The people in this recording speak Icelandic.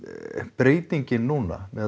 breytingin núna með